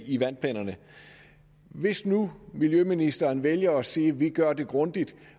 i vandplanerne hvis nu miljøministeren vælger at sige at vi gør det grundigt